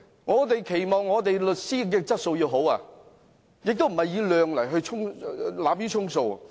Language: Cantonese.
我們期望律師的質素要好，而不是濫竽充數。